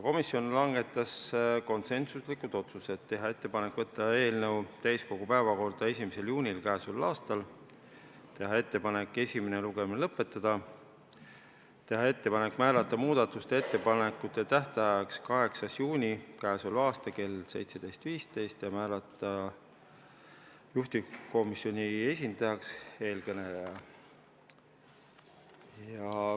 Komisjon langetas konsensuslikud otsused: teha ettepanek võtta eelnõu täiskogu päevakorda 1. juunil k.a, teha ettepanek esimene lugemine lõpetada, teha ettepanek määrata muudatusettepanekute tähtajaks 8. juuni kell 17.15 ja määrata juhtivkomisjoni esindajaks teie ees kõneleja.